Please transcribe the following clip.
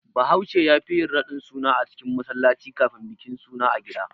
Bahaushe yafi yin radin suna a cikin masallaci kafin bikin suna a gida.